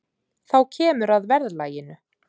Þá kemur að verðlaginu.